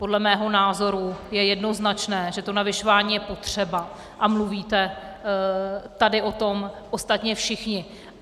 Podle mého názoru je jednoznačné, že to navyšování je potřeba, a mluvíte tady o tom ostatně všichni.